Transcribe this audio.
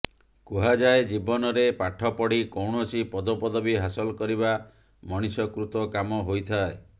କୁହାଯାଏ ଜୀବନରେ ପାଠପଢି କୈାଣସି ପଦପଦବୀ ହାସଲ କରିବା ମଣିଷ କୃତ କାମ ହୋଇଥାଏ